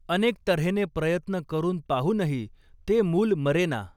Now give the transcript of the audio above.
अनेक तर्हेने प्रयत्न करून पाहूनही ते मूल मरेना.